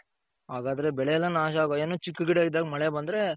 ಹಾಗಾದ್ರೆ ಬೆಳೆ ಎಲ್ಲಾ ನಾಶ ಆಗೋ ಏನೋ ಚಿಕ್ಕ ಗಿಡ ಇದ್ದಾಗ್ ಮಳೆ ಬಂದ್ರೆ